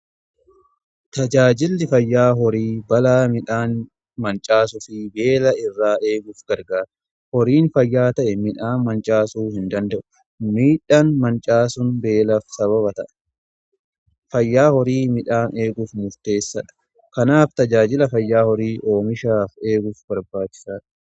tajaajilli fayyaa horii balaa midhaan mancaasuu fi beela irraa eeguuf gargaara. horiin fayyaa ta'e midhaan mancaasuu hin danda'u. midhaan mancaasuun beelaf sababa ta'a. fayyaan horii midhaan eeguuf murteessadha. kanaaf tajaajiilli fayyaa horii oomisha eeguuf barbaachisaadha.